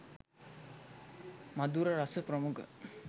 මධුර රස ප්‍රමුඛ